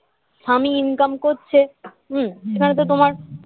স্বামী ইনকাম করছে হুঁম সেখানে তো তোমার